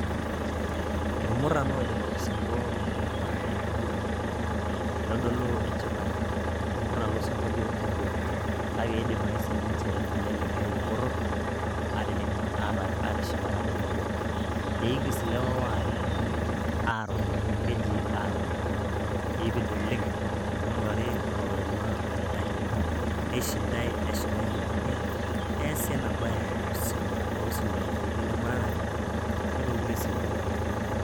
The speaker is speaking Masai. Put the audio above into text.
Ilmuran oojing' olosinko anaa enkiguran itodulo enchipai, Ilmuran losingolio obo. Kake, iedim ake sininje lelikai poror aatijing atishipata tenebo. Eigis ilewa waare aruma keji aruma. Eipid oleng' ning'urari oloturuma olikai, neishindai, neshipai, nekwanii neasi enabae tosirua, toosiruai laijo ilemuratare anake tookulie siruai ake.